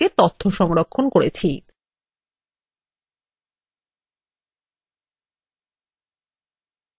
আমরা লাইব্রেরী ডাটাবেসের মধ্যে বই এবং সদস্যদের সম্পর্কে তথ্য সংরক্ষণ করেছি